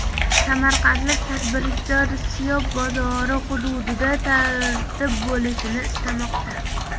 Samarqandlik tadbirkor Siyob bozori hududida tartib bo‘lishini istamoqda.